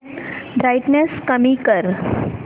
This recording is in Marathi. ब्राईटनेस कमी कर